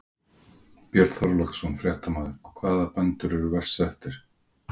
Björn Þorláksson, fréttamaður: Hvaða bændur eru verst settir?